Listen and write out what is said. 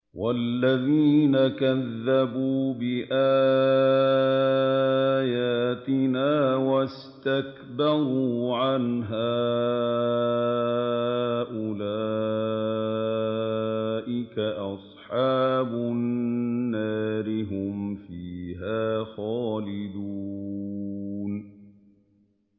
وَالَّذِينَ كَذَّبُوا بِآيَاتِنَا وَاسْتَكْبَرُوا عَنْهَا أُولَٰئِكَ أَصْحَابُ النَّارِ ۖ هُمْ فِيهَا خَالِدُونَ